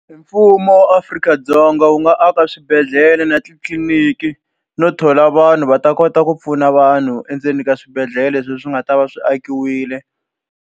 Mfumo wa Afrika-Dzonga wu nga aka swibedhlele na titliliniki no thola vanhu va ta kota ku pfuna vanhu endzeni ka swibedhlele leswi swi nga ta va swi akiwile.